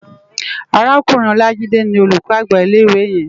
Árákúrin Olajide ni ólúkò ágbá ilé iwé yèn